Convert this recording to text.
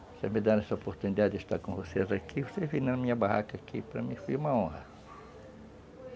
Você me dar essa oportunidade de estar com vocês aqui, vocês virem na minha barraca aqui, para mim foi uma honra.